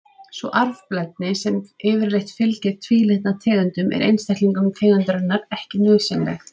Sú arfblendni sem yfirleitt fylgir tvílitna tegundum er einstaklingum tegundarinnar ekki nauðsynleg.